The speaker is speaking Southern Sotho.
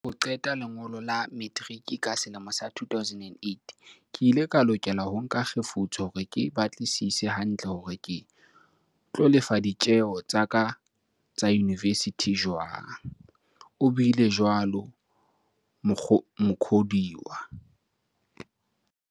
"Ka mora ho qeta lengolo la metiriki ka selemo sa 2008, ke ile ka lokela ho nka kgefutso hore ke batlisise hantle hore ke tlo lefa ditjeo tsa ka tsa yunivesithi jwang," o buile jwalo Mukhodiwa.